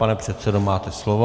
Pane předsedo, máte slovo.